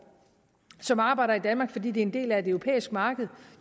som arbejder i danmark fordi det er en del af et europæisk marked